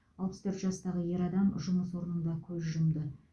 алпыс төрт жастағы ер адам жұмыс орнында көз жұмды